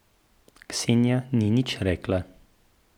Ksenija ni nič rekla.